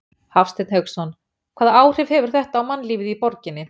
Hafsteinn Hauksson: Hvaða áhrif hefur þetta á mannlífið í borginni?